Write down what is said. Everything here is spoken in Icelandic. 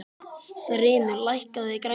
Þrymur, lækkaðu í græjunum.